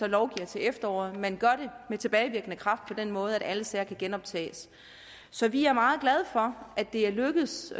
lovgiver til efteråret men gør det med tilbagevirkende kraft på den måde at alle sager kan genoptages så vi er meget glade for at det er lykkedes